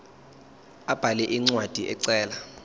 abhale incwadi ecela